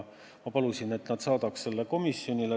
Ma palusin, et nad saadaks selle tabeli komisjonile.